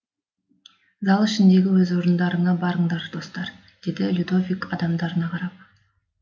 зал ішіндегі өз орындарыңа барыңдар достар деді людовик адамдарына қарап